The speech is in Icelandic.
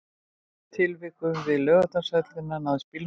Í tilvikinu við Laugardalshöll náðist bílnúmer